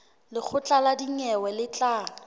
lekgotla la dinyewe le tla